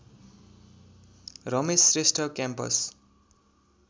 Ramesh Shrestha campus